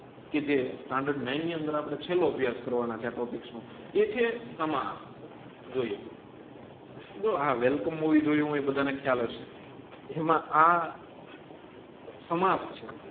કે જે standard nine ની અંદર આપડે ચેલો અભ્યાસ એ છે સમાજ જોઈએ જો આ વેલકમ મૂવી જોયું એ બધા ને ખ્યાલ હશે એમાં આ છે